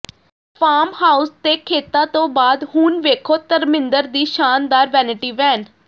farm house ਤੇ ਖੇਤਾਂ ਤੋਂ ਬਾਅਦ ਹੁਣ ਵੇਖੋ ਧਰਮਿੰਦਰ ਦੀ ਸ਼ਾਨਦਾਰ ਵੈਨਿਟੀ ਵੈਨ